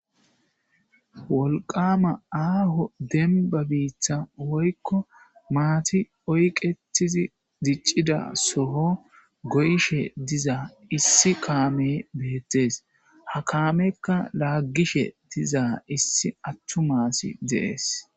wolqama aaho denba biita woykko maati oyqetizi diccida soho goyishe diza issi kaame beettees ha kaamekka laaggishe dizaa issi attumasi deees